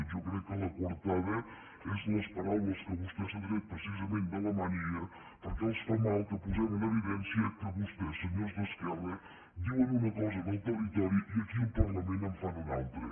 jo crec que la coartada són les paraules que vostè s’ha tret precisament de la màniga perquè els fa mal que posem en evidència que vostès senyors d’esquerra diuen una cosa en el territori i aquí al parlament en fan una altra